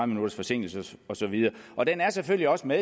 minutters forsinkelse og så videre og den er selvfølgelig også med